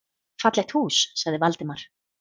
Fallegt hús sagði Valdimar.